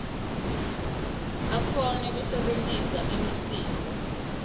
akhone kusebentisa imisindvo